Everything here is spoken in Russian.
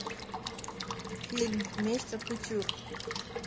фильм месть от кутюр